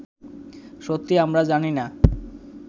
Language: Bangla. সত্যি আমরা জানি না